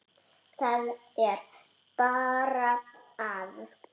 Það er bara að.